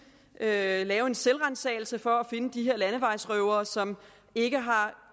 at lave en selvransagelse for at finde de her landevejsrøvere som ikke har